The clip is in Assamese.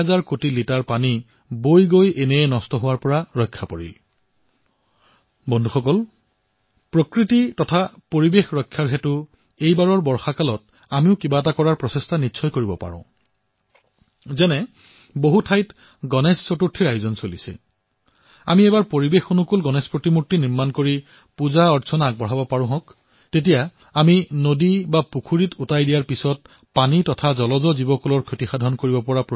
এই বাৰৰ গণেশজী মূৰ্তি আমি পৰিবেশ অনুকূল হিচাপে প্ৰস্তুত কৰিব পাৰো নেকি কাৰণ মূৰ্তিসমূহৰ বিসৰ্জনৰ পিছত নদী পুখুৰীৰ পানী অন্য জীৱৰ বাবে সংকটৰ কাৰণ হৈ পৰে